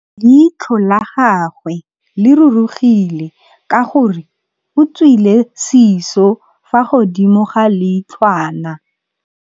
Leitlhô la gagwe le rurugile ka gore o tswile sisô fa godimo ga leitlhwana.